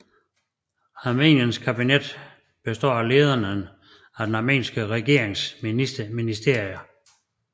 Armeniens kabinet består af lederne af den armenske regeringens ministerier